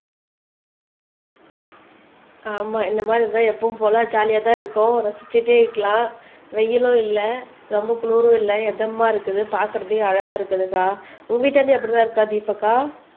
ஆமா இந்த மாதிரி இருந்தா எப்பவும் போல ஜாலியாதான் இருக்கும் ரசிச்சுட்டே இருக்கலாம் வெயிலும் இல்லை ரொம்ப குளிரும் இல்லை இதமா இருக்குது பார்க்கிறதுக்கே அழகா இருக்குதுக்கா உங்க வீட்டாண்டையும் அப்படிதான் இருக்கா தீபக்கா